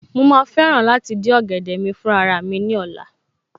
Mo ma fẹ́ràn láti dín ọ̀gẹ̀dẹ̀ mi fún raramí ní ọ̀la